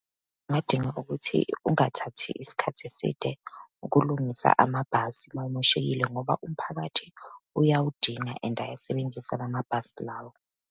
Ungadinga ukuthi ungathathi isikhathi eside ukulungisa amabhasi uma emoshekile, ngoba umphakathi uyawudinga and ayasebenzisa lamabhasi lawo.